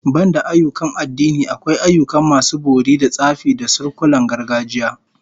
Banda ayyukan addini, akwai ayyukan masu bori da tsafi da surkullen gargajiya